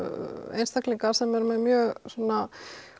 einstaklingar sem eru með mjög svona